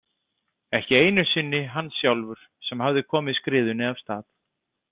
Ekki einu sinni hann sjálfur sem hafði komið skriðunni af stað.